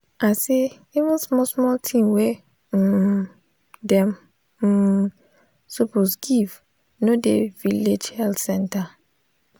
i say even small small thing wey um dem um suppose give no dey village health center.